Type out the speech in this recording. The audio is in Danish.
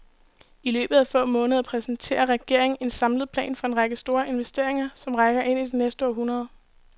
I løbet af få måneder præsenterer regeringen en samlet plan for en række store investeringer, som rækker ind i det næste århundrede.